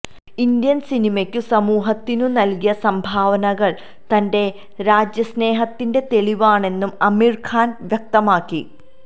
Indian സിനിമക്കും സമൂഹത്തിനും നല്കിയ സംഭാവനകള് തന്റെ രാജ്യസ്നേഹത്തിന്റെ തെളിവാണെന്നും അമീര് ഖാന് വ്യക്തമാക്കി